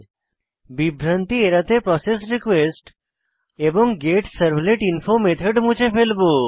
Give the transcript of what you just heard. বিভ্রান্তি এড়াতে প্রসেসরিকোয়েস্ট এবং গেটসার্ভলেটিনফো মেথড মুছে ফেলবো